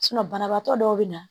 banabaatɔ dɔw bɛ na